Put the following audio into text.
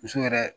Muso yɛrɛ